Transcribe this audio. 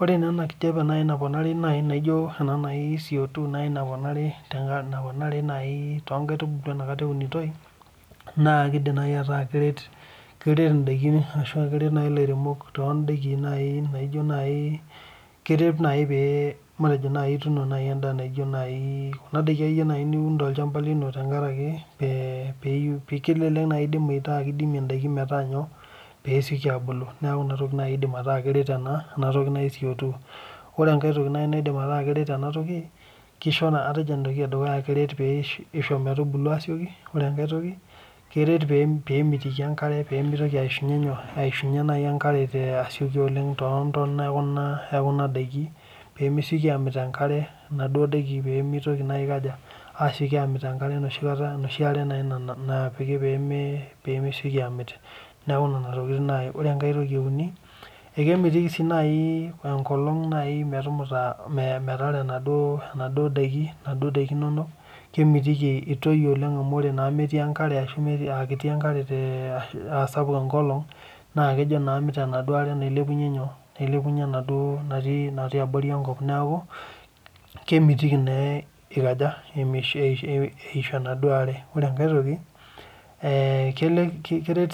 Ore naa enakijape naponari nijo nai cotwo naponari enkata egirai aunisho naa kidim nai ataa keret nai lairemok tondakin kuna dakin nai niun tolchamba tenkaraki kelelek nai metaa kidimie ndakin peyieesioki ebulu ore enkae toki nai nataa kidim neret enatokikisho naa atejo entoki edukuya keret pebulu ore entoki eare na keret pemitoki aishunye enkarebtontona pemesieki amit enkare pemesieki aikaja asieki amit enkare enoshi aare napiki pemesiekini amit akemitiki si enkolong pemear enaduo dkin inono kemitiki itoi amu ore metii enkare aa sapuk enkolong na kejobamit enaduo aare natii abori enkop neaku kemitiki naa eishu enaduo aare ore enkae toki keret